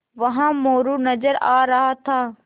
वहाँ मोरू नज़र आ रहा था